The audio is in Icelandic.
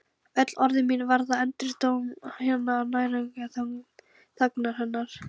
Öll orð mín verða endurómur hinnar nærandi þagnar hennar.